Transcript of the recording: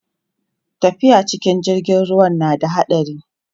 tafiya cikin jirgin ruwa na da haɗari